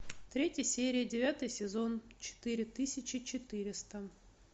третья серия девятый сезон четыре тысячи четыреста